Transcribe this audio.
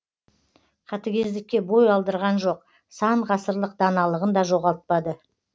қатыгездікке бой алдырған жоқ сан ғасырлық даналығын да жоғалтпады